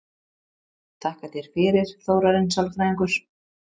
Þakka þér fyrir, Þórarinn sálfræðingur